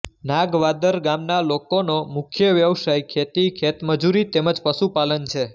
નાગવાદર ગામના લોકોનો મુખ્ય વ્યવસાય ખેતી ખેતમજૂરી તેમ જ પશુપાલન છે